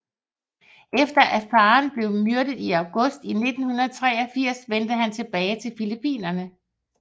Efter at faren blev myrdet i august 1983 vendte han tilbage til Filippinerne